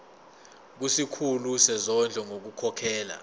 kusikhulu sezondlo ngokukhokhela